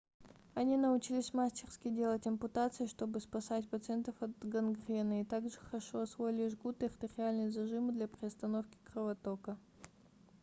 они научились мастерски делать ампутации чтобы спасать пациентов от гангрены и так же хорошо освоили жгут и артериальные зажимы для приостановки кровотока